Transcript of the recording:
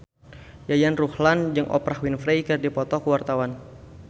Yayan Ruhlan jeung Oprah Winfrey keur dipoto ku wartawan